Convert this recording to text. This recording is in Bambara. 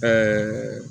Ɛɛ